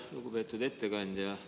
Lugupeetud ettekandja!